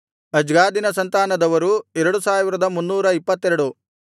ಅಜ್ಗಾದಿನ ಸಂತಾನದವರು 2322